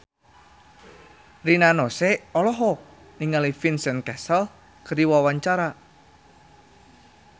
Rina Nose olohok ningali Vincent Cassel keur diwawancara